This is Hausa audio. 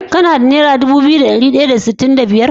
Kana da naira Dubu biyu da dari daya da sitin da biyar?